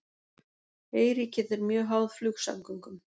Eyríkið er mjög háð flugsamgöngum